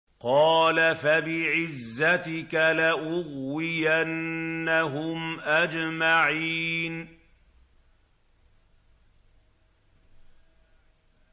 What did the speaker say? قَالَ فَبِعِزَّتِكَ لَأُغْوِيَنَّهُمْ أَجْمَعِينَ